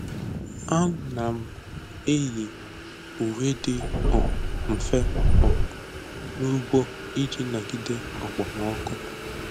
Ana m eyi uwe dị um mfe um n’ugbo iji nagide okpomọkụ.